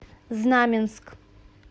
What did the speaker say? знаменск